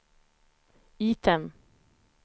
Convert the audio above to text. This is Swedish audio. item